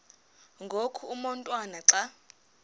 ngoku umotwana xa